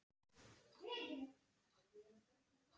Hvað var í honum?